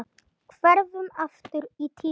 Hverfum aftur í tímann.